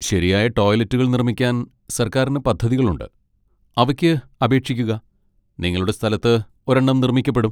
ശരിയായ ടോയ്ലറ്റുകൾ നിർമ്മിക്കാൻ സർക്കാരിന് പദ്ധതികളുണ്ട്, അവയ്ക്ക് അപേക്ഷിക്കുക, നിങ്ങളുടെ സ്ഥലത്ത് ഒരെണ്ണം നിർമ്മിക്കപ്പെടും.